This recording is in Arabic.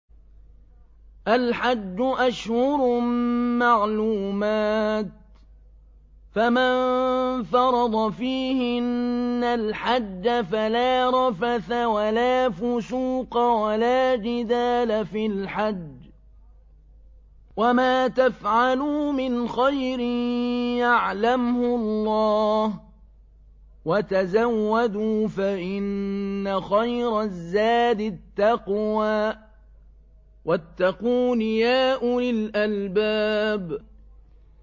الْحَجُّ أَشْهُرٌ مَّعْلُومَاتٌ ۚ فَمَن فَرَضَ فِيهِنَّ الْحَجَّ فَلَا رَفَثَ وَلَا فُسُوقَ وَلَا جِدَالَ فِي الْحَجِّ ۗ وَمَا تَفْعَلُوا مِنْ خَيْرٍ يَعْلَمْهُ اللَّهُ ۗ وَتَزَوَّدُوا فَإِنَّ خَيْرَ الزَّادِ التَّقْوَىٰ ۚ وَاتَّقُونِ يَا أُولِي الْأَلْبَابِ